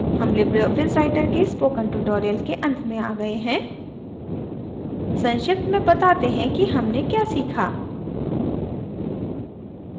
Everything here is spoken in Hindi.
हम लिबरे ऑफिस writer के spoken tutorial के अंत में आ गए हैं संक्षिप्त में बताते हैं कि हमने क्या सीखा